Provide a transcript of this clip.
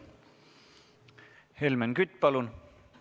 Helmen Kütt, palun!